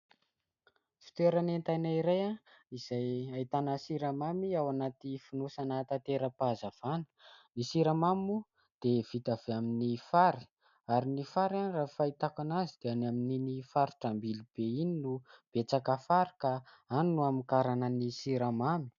Fitoeran'entana iray izay ahitana siramamy ao anaty fonosana tatera-pahazavana. Ny siramamy moa dia vita avy amin'ny fary ary ny fary raha ny fahitako azy dia amin'iny faritra Ambilobe iny no betsaka fary ka any no hamokarana ny siramamy.